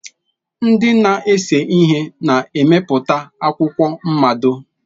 Ndị na-ese ihe na-emepụta akwụkwọ mmado.